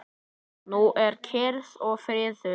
Nú er kyrrð og friður.